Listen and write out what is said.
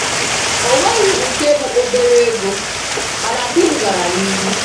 O nweghị nke bụ obere ego, mana di m gara n'ihu.